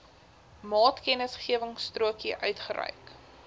maatkennisgewingstrokie uitgereik